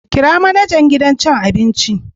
Kira manajan gidan cin abin.